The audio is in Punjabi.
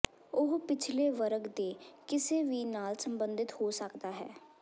ਉਹ ਪਿਛਲੇ ਵਰਗ ਦੇ ਕਿਸੇ ਵੀ ਨਾਲ ਸੰਬੰਧਿਤ ਹੋ ਸਕਦਾ ਹੈ